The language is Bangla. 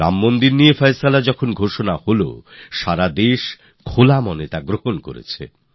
রাম মন্দিরের বিষয়ে যখন রায় এল তখন সারা দেশ মন খুলে আলিঙ্গন করল